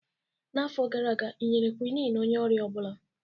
N'afọ gara aga ị nyere Quinn onye ọrịa ọ bụla?